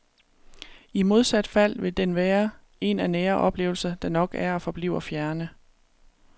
I modsat fald vil den være en af nære oplevelser, der nok er og forbliver fjerne.